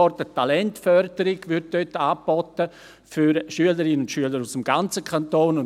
Dort wird Talentförderung für Schülerinnen und Schüler aus dem ganzen Kanton angeboten.